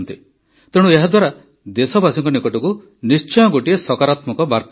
ତେଣୁ ଏହାଦ୍ୱାରା ଦେଶବାସୀଙ୍କ ନିକଟକୁ ନିଶ୍ଚୟ ଗୋଟିଏ ସକାରାତ୍ମକ ବାର୍ତା ଯିବ